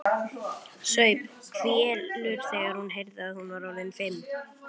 Saup hveljur þegar hún heyrði að hún var orðin fimm.